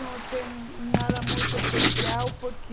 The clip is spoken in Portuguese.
Não tem nada muito especial, porque...